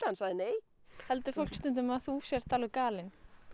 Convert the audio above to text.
sagt nei heldur fólk stundum að þú sért alveg galin